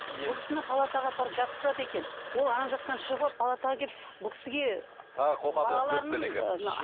бұл кісіні палатаға апарып жатқызады екен ол ана жақтан шығып алып палатаға келіп бұл кісіге тағы қоқан лоққы көрсетеді екен